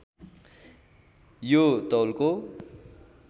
यो तौलको